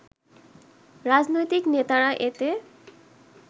রাজনৈতিক নেতারা এতে